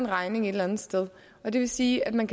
regning et eller andet sted og det vil sige at man